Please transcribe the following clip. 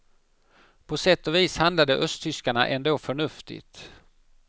På sätt och vis handlade östtyskarna ändå förnuftigt.